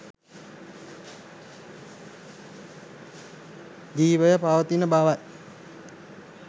ජිවය පවතින බවයි